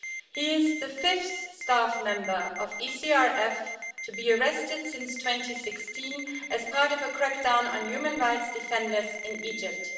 He is the fifth staff member of ECRF to be arrested since 2016 as part of a crackdown on human rights defenders in Egypt.